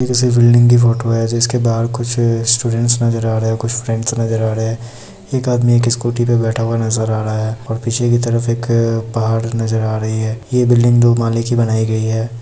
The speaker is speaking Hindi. किसी बिल्डिंग की फोटो है जिसके बहार कुछ स्टूडेंट्स नजर आ रहे है कुछ फ्रेंड्स नजर आ रहे है एक आदमी एक स्कूटी पे बैठा हुआ नजर आ रहा है और पीछे की तरफ एक पहाड़ नजर आ रही है ये बिल्डिंग दो महले की बनाई गई है ।